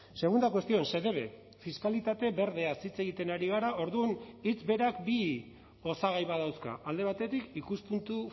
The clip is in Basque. segunda cuestión se debe fiskalitate berdeaz hitz egiten ari gara orduan hitz berak bi osagai badauzka alde batetik ikuspuntu